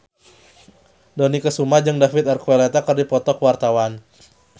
Dony Kesuma jeung David Archuletta keur dipoto ku wartawan